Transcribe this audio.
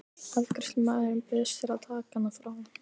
Afgreiðslumaðurinn bauðst til að taka hana frá.